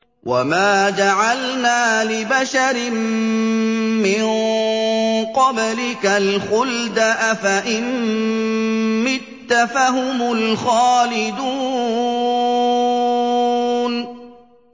وَمَا جَعَلْنَا لِبَشَرٍ مِّن قَبْلِكَ الْخُلْدَ ۖ أَفَإِن مِّتَّ فَهُمُ الْخَالِدُونَ